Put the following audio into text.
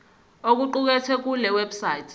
okuqukethwe kule website